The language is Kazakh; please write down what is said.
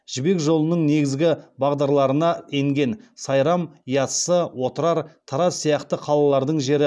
жібек жолының негізгі бағдарларына енген сайрам яссы отырар тараз сияқты қалалардың жері